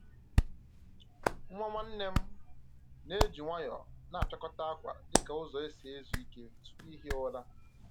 Nwa nwanne nna m na-eji nwayọọ na-apịakọta akwa dị ka ụzọ ọ si ezu Ike tupu ihi ụra